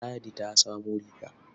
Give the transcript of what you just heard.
Ladi ta samo riga.